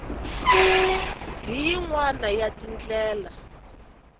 hi yin wana ya tindlela